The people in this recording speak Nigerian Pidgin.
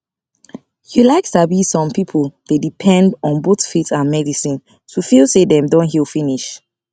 you like sabi some people dey depend on both faith and medicine to feel say dem don heal finish